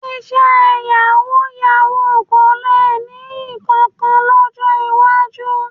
Iṣẹ́ yàwúú-yawuù kò le nìyí kankan lọ́jọ́ iwájú.